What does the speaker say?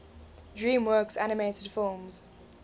dreamworks animated films